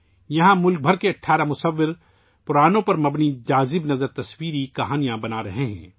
یہاں ملک بھر کے 18 مصور پرانوں پر مبنی پرکشش تصویری کہانیاں بنا رہے ہیں